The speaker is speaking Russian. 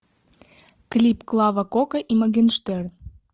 клип клава кока и моргенштерн